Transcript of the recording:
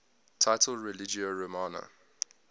title religio romana